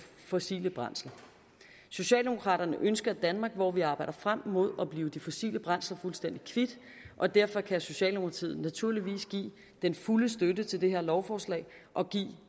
fossile brændsler socialdemokraterne ønsker et danmark hvor vi arbejder frem mod at blive de fossile brændsler fuldstændig kvit og derfor kan socialdemokratiet naturligvis give den fulde støtte til det her lovforslag og give